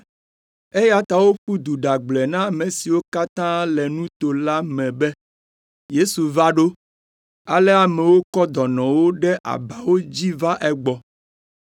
eya ta woƒu du ɖagblɔe na ame siwo katã le nuto la me be Yesu va ɖo. Ale amewo kɔ dɔnɔwo ɖe abawo dzi va egbɔ.